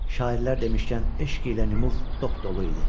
Şairlər demişkən eşq ilə nüf dopdolu idi.